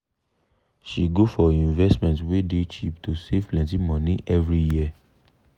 she go for investment wey dey cheap to save plenti money every year.